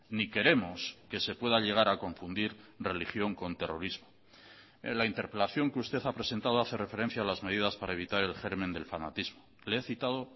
ni queremos que se pueda llegar a confundir religión con terrorismo en la interpelación que usted ha presentado hace referencia a las medidas para evitar el germen del fanatismo le he citado